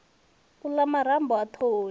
u la marambo a thoho